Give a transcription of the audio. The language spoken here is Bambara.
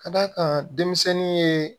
Ka d'a kan denmisɛnnin ye